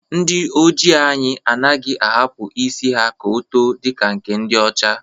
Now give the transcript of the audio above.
Ndi Ojii anyi anaghị ahapụ isi ka o too dịka nke ndi ọcha